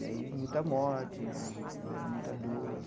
E aí muita morte né, muita dor.